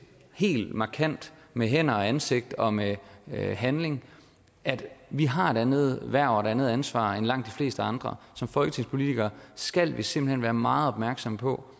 helt markant med hænder og ansigt og med handling at vi har et andet hverv og et andet ansvar end langt de fleste andre som folketingspolitikere skal vi simpelt hen være meget opmærksomme på